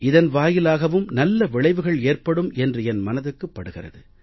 இதன் வாயிலாகவும் நல்ல விளைவுகள் ஏற்படும் என்று என் மனதுக்கு படுகிறது